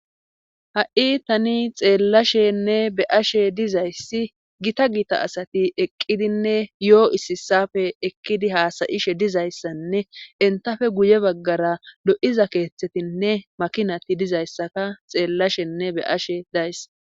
Ha'i tani xeellashenne be'ashe dizayssi giita giita asati eqqidinne yo'oo issi issafe ekkidi haasayishe dizayssanne intafe guye baggara lo'iza keeththetinne makinati dizayssaka xeellashenne be'ashshe days